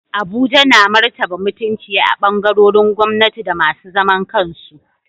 Abuja na martaba mutunci a ɓangarorin gwamnati da masu zaman kansu.